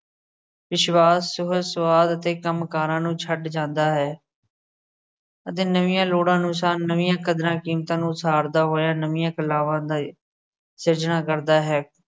ਵਿਸ਼ਵਾਸ ਸਵੈ ਸਵਾਦ ਅਤੇ ਕੰਮ ਕਾਰਾ ਨੂੰ ਛੱਡ ਜਾਂਦਾ ਹੈ। ਅਤੇ ਨਵੀਆਂ ਲੋੜਾਂ ਅਨੁਸਾਰ ਨਵੀਆਂ ਕਦਰਾਂ ਕੀਮਤਾਂ ਨੂੰ ਉਸਾਰਦਾ ਹੋਇਆ, ਨਵੀਆਂ ਕਲਾਵਾਂ ਦਾ, ਸਿਰਜਣਾ ਕਰਦਾ ਹੈ।